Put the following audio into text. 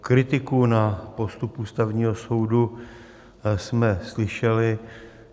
Kritiku na postup Ústavního soudu jsme slyšeli.